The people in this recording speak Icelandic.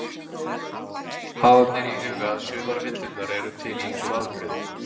Hafa ber í huga að sumar villurnar eru til í ýmsum afbrigðum.